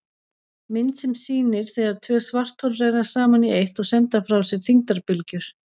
Mynd sem sýnir þegar tvö svarthol renna saman í eitt og senda frá sér þyngdarbylgjur.